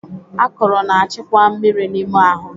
Akụrụ na-achịkwa mmiri n'ime ahụ.